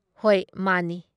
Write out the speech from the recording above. ꯍꯣꯏ ꯃꯥꯟꯅꯤ ꯫"